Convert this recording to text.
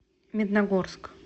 медногорск